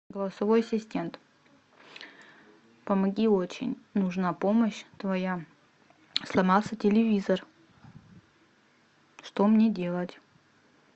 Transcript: голосовой ассистент помоги очень нужна помощь твоя сломался телевизор что мне делать